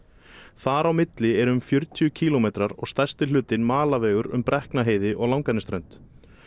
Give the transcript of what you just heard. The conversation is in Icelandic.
þar á milli eru um fjörutíu kílómetrar og stærsti hlutinn malarvegur um Brekknaheiði og Langanesströnd